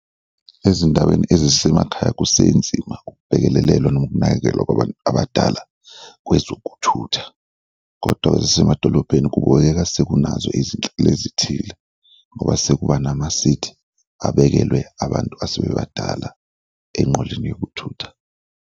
Ezindaweni ezisemakhaya kusenzima ukubhekelelelwa noma ukunakekelwa kwabantu abadala kwezokuthutha kodwa ezisemadolobheni kubukeka sekunazo izinhlelo ezithile ngoba sekuba namasithi abekelwe abantu asebebadala enqoleni yokuthutha.